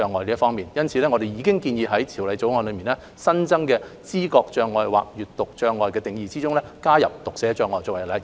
因此，我們建議在《條例草案》新增的知覺障礙或閱讀障礙的定義中，加入讀寫障礙作為例子。